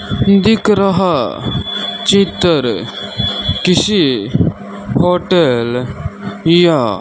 दिख रहा चित्तर किसी होटेल या --